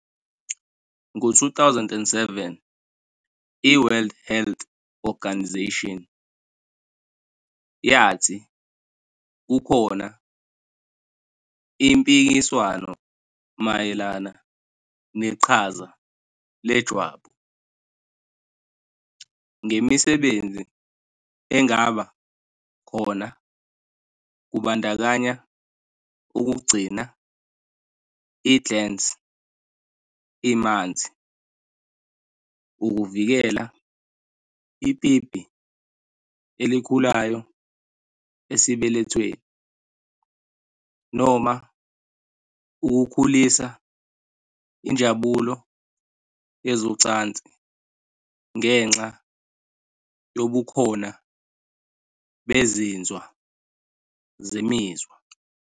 Ngo-2007 i- World Health Organisation, yathi kukhona "impikiswano mayelana neqhaza lejwabu, ngemisebenzi engaba khona kubandakanya ukugcina i-glans imanzi, ukuvikela ipipi elikhulayo esibelethweni, noma ukukhulisa injabulo yezocansi ngenxa yobukhona bezinzwa zemizwa".